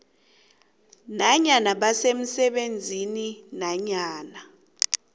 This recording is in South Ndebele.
nanyana basemsebenzini nanyana